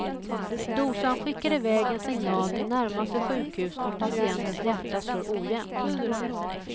Dosan skickar iväg en signal till närmaste sjukhus om patientens hjärta slår ojämnt.